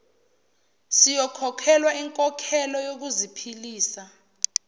siyokhokhelwa inkokhelo yokuziphilisa